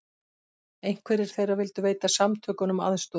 Einhverjir þeirra vildu veita samtökunum aðstoð